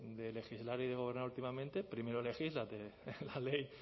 de legislar y de gobernar últimamente primero legisla la ley